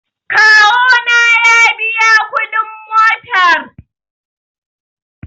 kawona ya biya kudin motar